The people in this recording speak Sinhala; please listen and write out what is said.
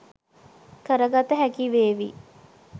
කරගත හැකිවේවි.